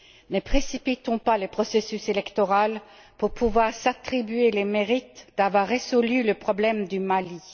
Ne précipitons pas le processus électoral pour pouvoir s'attribuer les mérites d'avoir résolu le problème du Mali.